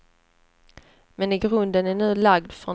Men grunden är nu lagd för en hög tillväxt.